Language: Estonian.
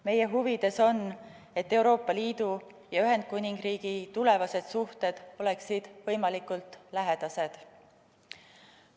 Meie huvides on, et Euroopa Liidu ja Ühendkuningriigi tulevased suhted oleksid võimalikult lähedased.